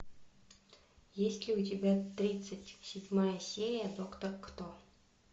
есть ли у тебя тридцать седьмая серия доктор кто